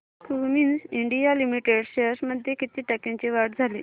Cummins India limited shares मध्ये किती टक्क्यांची वाढ झाली